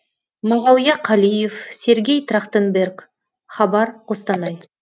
мағауия қалиев сергей трахтенберг хабар қостанай